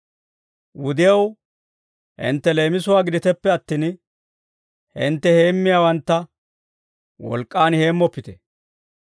Wudew hintte leemisuwaa giditeppe attin, hintte heemmiyaawantta wolk'k'aan heemmoppite.